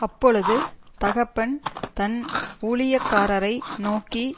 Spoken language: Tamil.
அப்பொழுது தகப்பன் தன் ஊழியக்காரரை நோக்கி